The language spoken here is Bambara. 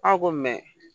Aw ko